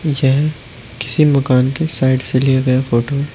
यह किसी मकान के साइड से लिया गया फोटो है।